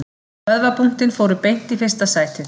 Vöðvabúntin fóru beint í fyrsta sætið